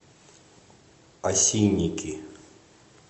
осинники